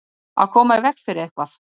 Að koma í veg fyrir eitthvað